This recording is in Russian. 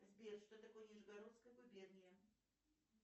сбер что такое нижегородская губерния